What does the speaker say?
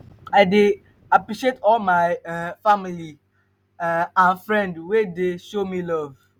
i dey appreciate all my um family um and friends wey dey show me love.